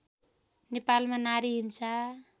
नेपालमा नारी हिंसा